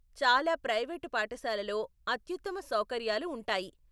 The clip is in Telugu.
చాలా ప్రైవేటు పాఠశాలలో అత్యుత్తమ సౌకర్యాలు ఉంటాయి.